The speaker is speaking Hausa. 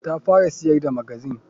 Ta fara siyar da magazine.